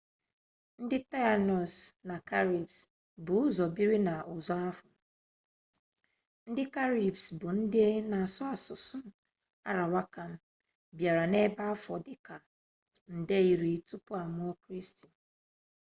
ndị taịnos na karibes bu ụzọ biri na usuo ahụ ndị karibes bụ ndị na-asụ asụsụ arawakan bịara ebe afọ dịka nde iri tupu amụọ kristi